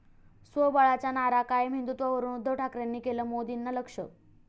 स्वबळाच्या नारा कायम, हिंदुत्वावरून उद्धव ठाकरेंनी केलं मोदींना लक्ष्य!